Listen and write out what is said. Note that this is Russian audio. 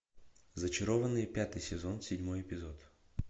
зачарованные пятый сезон седьмой эпизод